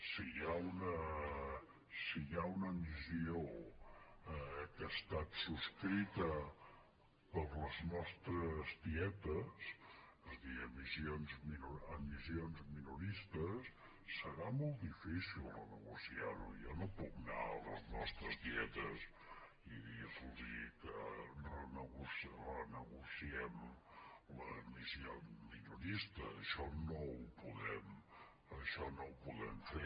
si hi ha una emissió que ha estat subscrita per les nostres tietes és a dir emissions minoristes serà molt difícil renegociar ho jo no puc anar a les nostres tietes i dir los que renegociem l’emissió minorista això no ho podem fer